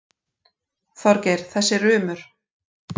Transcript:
Þorgeir, þessi rumur.